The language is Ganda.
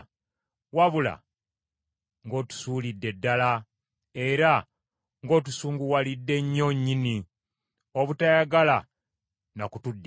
wabula ng’otusuulidde ddala, era ng’otusunguwalidde nnyo nnyini obutayagala na kutuddiramu.